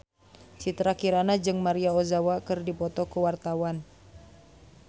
Citra Kirana jeung Maria Ozawa keur dipoto ku wartawan